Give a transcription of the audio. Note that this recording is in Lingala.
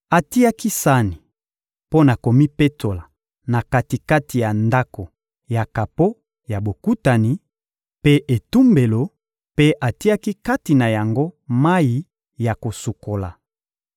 Atiaki sani mpo na komipetola na kati-kati ya Ndako ya kapo ya Bokutani mpe etumbelo mpe atiaki kati na yango mayi ya kosukola.